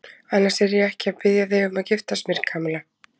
Annars er ég ekki að biðja þig um að giftast mér, Kamilla.